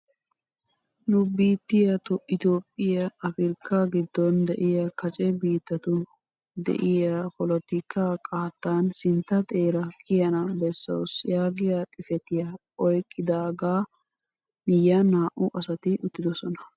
Nu biittiyaa itoophphiyaa afirkkaa giddon de'iyaa kace biittatu de'iyaa polotikkaa qaattaan sintta xeera kiyana bessawus yaagiyaa xifatiyaa oyqqidagaa miyiyaan naa"u asati uttidosona.